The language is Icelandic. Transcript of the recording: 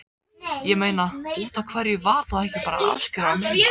Ég meina, útaf hverju var þá ekki bara afskrifað minna?